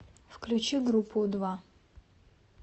включи группу у два